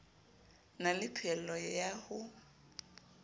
na le phehello ya ho